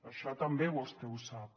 això també vostè ho sap